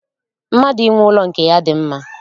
Mmadụ inwe ụlọ nke ya dị mma